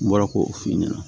N bɔra k'o f'i ɲɛna